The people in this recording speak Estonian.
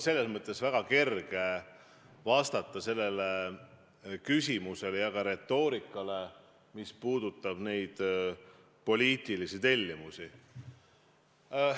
Mul on väga kerge vastata sellele küsimusele ja ka retoorikale, mis puudutab poliitilisi tellimusi.